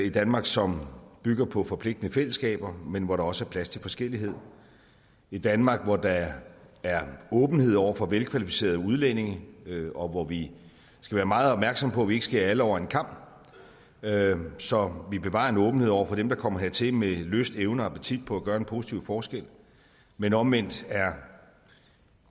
et danmark som bygger på forpligtende fællesskaber men hvor der også er plads til forskellighed et danmark hvor der er åbenhed over for velkvalificerede udlændinge og hvor vi skal være meget opmærksomme på at vi ikke skærer alle over en kam så vi bevarer en åbenhed over for dem der kommer hertil med lyst evner og appetit på at gøre en positiv forskel men omvendt